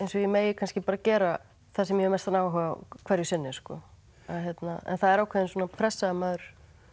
og ég megi kannski gera það sem ég hef mestan áhuga á hverju sinni en það er ákveðin pressa að maður